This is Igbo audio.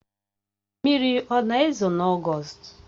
Mmiri ọ na-ezo n'ogost?